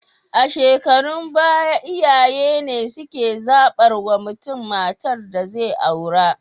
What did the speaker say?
A shukarun baya iyaye ne suke zabar wa mutun matar da zai aura